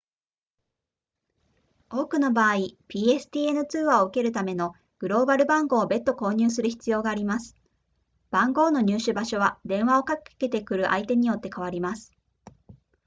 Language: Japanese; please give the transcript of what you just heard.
多くの場合 pstn 通話を受けるためのグローバル番号を別途購入する必要があります番号の入手場所は電話をかけてくる相手によって変わります